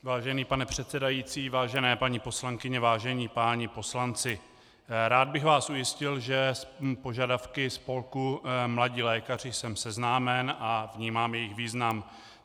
Vážený pane předsedající, vážené paní poslankyně, vážení páni poslanci, rád bych vás ujistil, že s požadavky spolku Mladí lékaři jsem seznámen a vnímám jejich význam.